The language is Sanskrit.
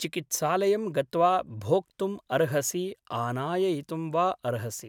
चिकित्सालयं गत्वा भोक्तुम् अर्हसि आनाययितुं वा अर्हसि ।